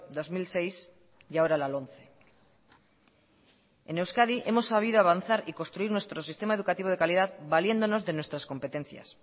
dos mil seis y ahora la lomce en euskadi hemos sabido avanzar y construir nuestro sistema educativo de calidad valiéndonos de nuestras competencias